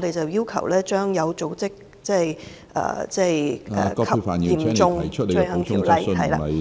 們要求將《有組織及嚴重罪行條例》......